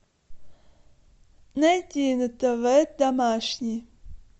найти на тв домашний